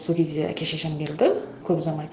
сол кезде әке шешем келді көп ұзамай